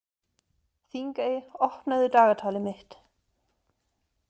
Þingey, opnaðu dagatalið mitt.